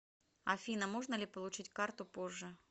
афина можно ли получить карту позже